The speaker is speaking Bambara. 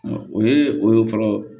O ye o ye fɔlɔ